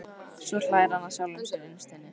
Svo hlær hann að sjálfum sér innst inni.